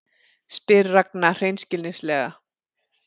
spyr Ragna hreinskilnislega.